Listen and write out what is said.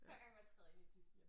Hver gang man træder ind i et nyt hjem